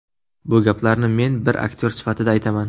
Bu gaplarni men bir aktyor sifatida aytaman.